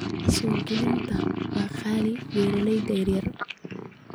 Wax-soo-gelinta waa qaali beeralayda yaryar.